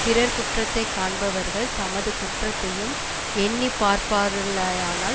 பிறர் குற்றத்தை காண்பவர்கள் தமது குற்றத்தையும் எண்ணி பார்ப்பார்களயானால்